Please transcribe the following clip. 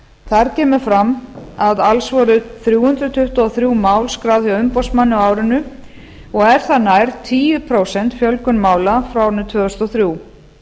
þar kemur fram að alls voru þrjú hundruð tuttugu og þrjú mál skráð hjá umboðsmanni á árinu og er það nær tíu prósent fjölgun mála frá árinu tvö þúsund og þrjú